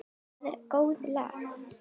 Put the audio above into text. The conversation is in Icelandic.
Það er í góðu lagi